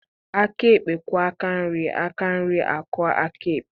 Aka ekpe kwọọ aka nri aka nri akwọọ aka ekpe